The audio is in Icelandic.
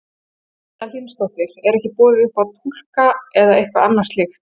Erla Hlynsdóttir: Er ekki boðið upp á túlka eða eitthvað annað slíkt?